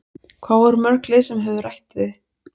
Hvað voru mörg lið sem höfðu rætt við þig?